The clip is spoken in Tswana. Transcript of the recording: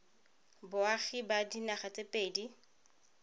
boagi ba dinaga tse pedi